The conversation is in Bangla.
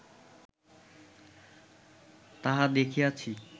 তাহা দেখাইয়াছি